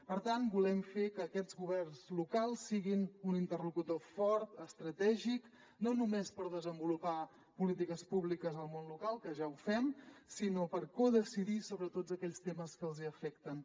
per tant volem fer que aquests governs locals siguin un interlocutor fort estratègic no només per desenvolupar polítiques públiques al món local que ja ho fem sinó per codecidir sobre tots aquells temes que els afecten